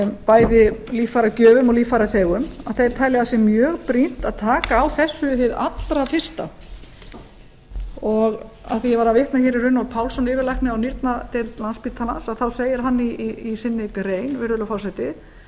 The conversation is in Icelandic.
bæði líffæragjöfum og líffæraþegum þeir telja að það sé mjög brýnt að taka á þessu hið allra fyrsta af því að ég var að vitna í runólf pálsson yfirlækni á nýrnadeild landspítalans þá segir hann í sinni grein virðulegi forseti